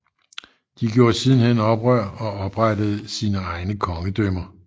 De gjorde sidenhen oprør og oprettede sine egne kongedømmer